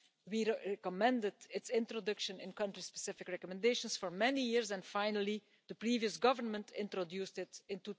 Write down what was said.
We recommended its introduction in country-specific recommendations for many years, and finally the previous government introduced it in